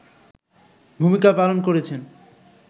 ভূমিকা পালন করেছেন